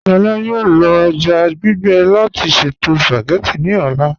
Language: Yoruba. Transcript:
Lọlá yọọ lọ èjá gbígbe láti ṣẹto spagétì ní ọlá.